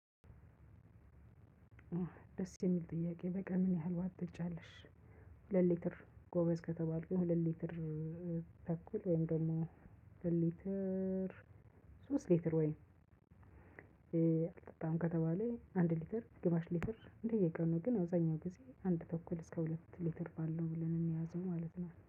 ደስ የሚል ጥያቄ በቃ ምን ያህል ውሃ ትጠጫለሽ። ሁለት ሊትር ጎበዝ ከተባልኩኝ ሁለት ሊትር ተኩል ወይም ደግሞ ሁለት ሊትር ሶስት ሊትር ወይም አልጠጣም ከተባለ አንድ ሊትር፣ ግማሽ ሊትር በየቀኑ ግን አብዛኛውን ጊዜ አንድ ተኩል እስከ ሁለት ሊትር ባለው ብለን የሚይዘው ማለት ነው።